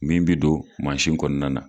Min bi don kɔnɔna na.